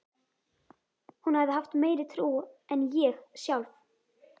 Hún hafði haft meiri trú en ég sjálf.